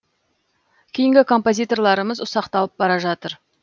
кейінгі композиторларымыз ұсақталып бара жатыр